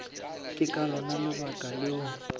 ke ka lona lebaka leo